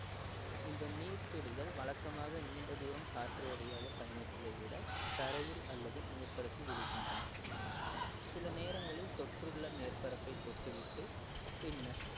இந்த நீர்த்துளிகள் வழக்கமாக நீண்ட தூரம் காற்று வழியாக பயணிப்பதை விட தரையில் அல்லது மேற்பரப்பில் விழுகின்றன சில நேரங்களில் தொற்றுள்ள மேற்பரப்பை தொட்டுவிட்டு பின்னர்